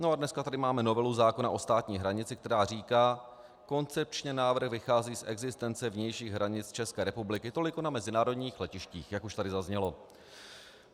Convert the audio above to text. No a dneska tady máme novelu zákona o státní hranici, která říká: Koncepčně návrh vychází z existence vnějších hranic České republiky toliko na mezinárodních letištích, jak už tady zaznělo.